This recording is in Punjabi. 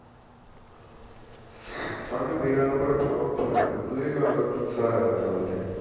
ਸਾਲੇ ਨੇ ਮੇਰਾ number block ਚ ਪਾਇਆ ਵਾ ਮੈਨੂੰ ਇਹ ਗੱਲ ਦਾ ਗੁੱਸਾ ਆਇਆ ਹੈ ਸਾਲੇ ਤੇ